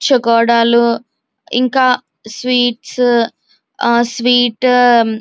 చోగాదాల్ ఇంకా sweets and sweets --